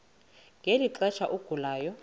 ngeli xesha agulayo